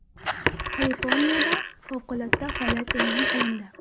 Kaliforniyada favqulodda holat e’lon qilindi.